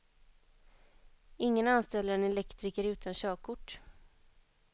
Ingen anställer en elektriker utan körkort.